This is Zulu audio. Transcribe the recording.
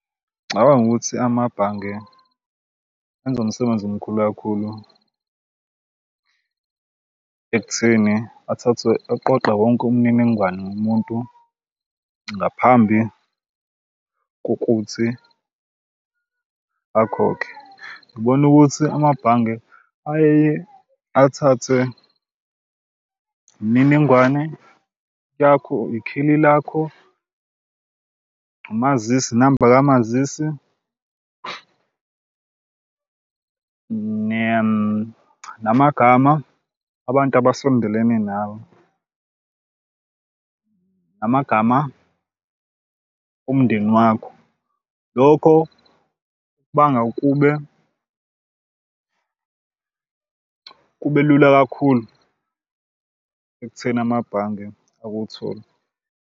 Ngicabanga ukuthi amabhange enze umsebenzi omkhulu kakhulu ekutheni athathwe aqoqe wonke umniningwane ngomuntu ngaphambi kokuthi akhokhe. Ngibona ukuthi amabhange ayeye athathe imininingwane yakho, ikheli lakho, umazisi, inamba kamazisi, namagama abantu abasondelene nawe, namagama omndeni wakho. Lokho kubanga kube kube lula kakhulu ekutheni amabhange akuthole.